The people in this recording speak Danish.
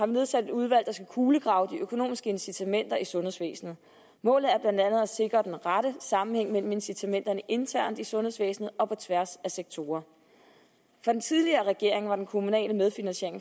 nedsat et udvalg der skal kulegrave de økonomiske incitamenter i sundhedsvæsenet målet er blandt andet at sikre den rette sammenhæng mellem incitamenterne internt i sundhedsvæsenet og på tværs af sektorerne for den tidligere regering var den kommunale medfinansiering